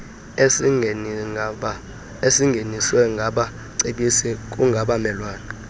ezingeniaswe ngabacebisi kungabelwana